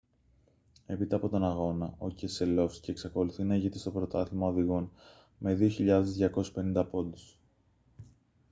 έπειτα από τον αγώνα ο κεσελόφσκι εξακολουθεί να ηγείται στο πρωτάθλημα οδηγών με 2.250 πόντους